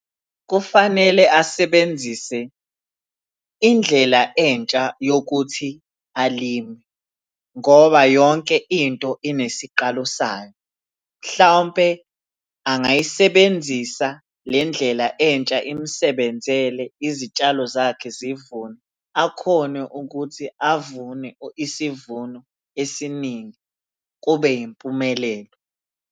Kufanele asebenzise indlela entsha yokuthi alime, ngoba yonke into inesiqalo sayo. Mhlawumpe angayisebenzisa le ndlela entsha imusebenzele, izitshalo zakhe zivunwe, akhone ukuthi avune isivuno esiningi kube yimpumelelo.